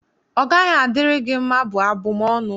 ọ gaghị adịrị gị mma', bụ abụm ọnụ.